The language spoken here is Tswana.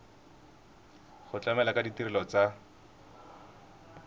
go tlamela ka ditirelo tsa